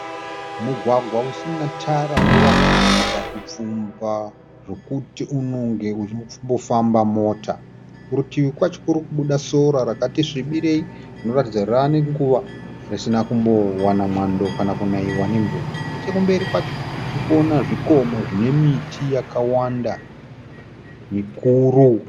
Mugwagwa usina tara unoratidza kupfumba zvekuti unonge uchimbofamba Mota. Kurutivi kwacho kuri kubuda sora rakati zvibirei rinoratidza kuti rave nenguva risina kumbowana mwando kana kunaiwa nemvura. Nechekumberi kwacho tirikuona zvikomo zvine miti yakawanda mikuru.